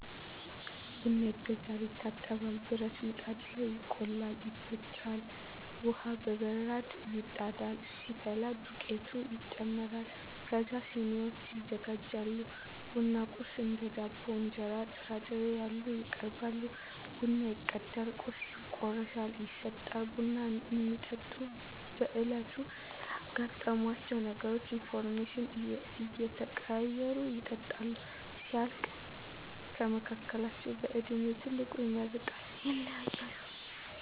ቡና ይገዛል፤ ይታጠባል፤ ብረት ምጣድ ላይ ይቆላል፤ ይፈጫል፤ ውሃ በበራድ ይጣዳል፤ ሲፈላ ዱቄቱ ይጨመራል ከዛ ስኒዎች ይዘጋጃሉ፤ ቡና ቁርስ እንደ ዳቦ፤ እንጀራ፤ ጥራጥሬ ያሉ ይቀርባሉ ቡናው ይቀዳል ቁርሱ ይቆረሳል ይሰጣል። ቡና እሚጠጡት በዕለቱ ስላጋጠሟቸው ተግባራት ኢንፎርሜሽን እየተቀያየሩ ይጠጣሉ። ሲያልቅ ከመካከላቸው በእድሜ ትልቁ ይመርቃል ይለያያሉ።